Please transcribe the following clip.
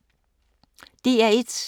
DR1